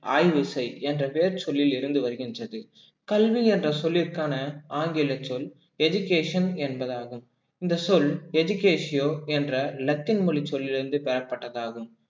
ஆய்வு செய் என்ற பெயர் சொல்லில் இருந்து வருகின்றது கல்வி என்ற சொல்லிற்கான ஆங்கிலச் சொல் education என்பதாகும் இந்த சொல் education என்ற லத்தீன் மொழிச் சொல்லிலிருந்து பெறப்பட்டதாகும்